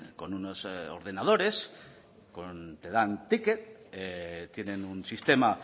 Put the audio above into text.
con unos ordenadores te dan ticket tienen un sistema